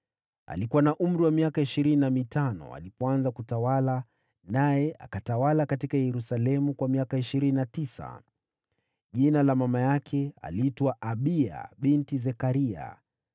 Alikuwa na umri wa miaka ishirini na mitano alipoanza kutawala, naye akatawala huko Yerusalemu kwa miaka ishirini na tisa. Mama yake aliitwa Abiya binti Zekaria.